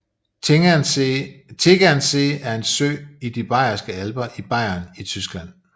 Tegernsee er en sø i de Bayerske Alper i Bayern i Tyskland